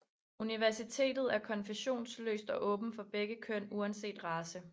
Universitetet er konfessionsløst og åbent for begge køn uanset race